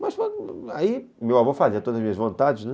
Mas aí meu avô fazia todas as minhas vontades, né.